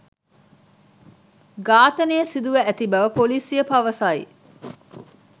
ඝාතනය සිදුව ඇති බව පොලිසිය පවසයි